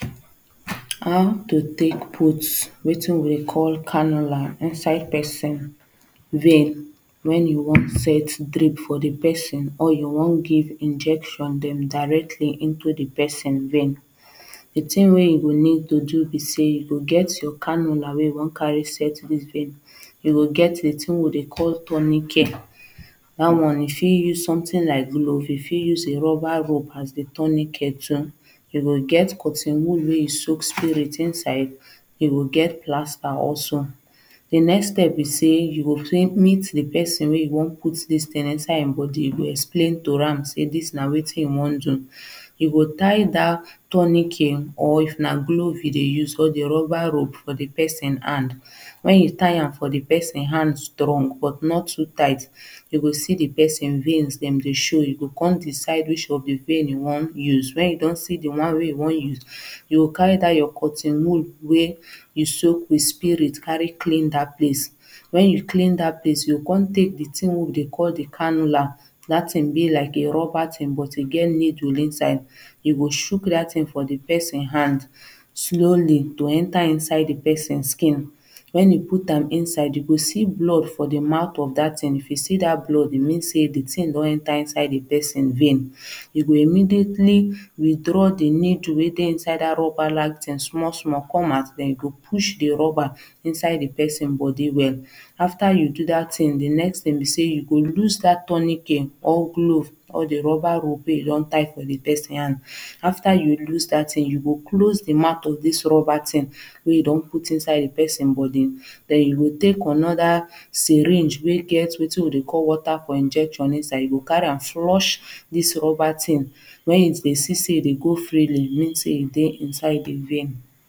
How to take put wetin we call Cannula inside person vein when you wan set drip for the person or you wan give injection dem directly into the person vein the thing wey you go need to do be say you get your cannula wey you wan carry set this vein you go get wetin we dey call tourniquet that one you fit use something like glove you fit use a rubber rope as a tourniquet too you get cotton wool wey you soak spirit inside you go get plaster also The next step be say you go quickly meet the person wey you wan out this thing inside him body, you go explain to am say to this na wetin you wan do You go tie that tourniquet Or if na glove you dey use or the rubber rope for the person hand when you tie am for the person hand strong but not too tight you go see the person veins dem dey show you go come decide which of the vein you wan use when you don see the one wey you don use you go carry that your cotton wool wey you soak with spirit carry clean that place, when you clean that place you go come take the thing wey we dey call the cannula that thing be like a rubber thing but e get needle inside. You go chuck that thing for the person hand slowly to enter inside the person skin when you put am inside you go see blood for the mouth of that thing if you see that blood e mean say the thing don enter inside the person vein you go immediately withdraw the needle wey inside that rubber like thing small small come out then you go push the rubber inside the person body well after you do that thing the next thing be say you go loose that tourniquet Or glove or the rubber rope wey you don tie for the person hand after you loose that thing you go close the mouth of this rubber thing wey you don put inside the person body then you go take another syringe wey get wetin we dey call water for injection you go carry am flush this rubber thing when you dey see say e dey go freely e mean say e dey inside the vein.